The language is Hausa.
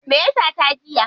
Me ya sata jiya?